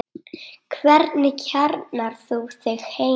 Hvernig kjarnar þú þig heima?